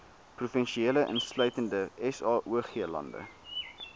provinsie insluitende saoglande